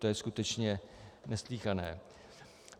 To je skutečně neslýchané!